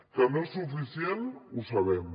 que no és suficient ho sabem